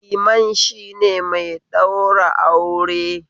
Liman shine mai ɗaura aure